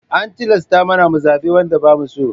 An tilasta mana mu zaɓe wanda ba mu so.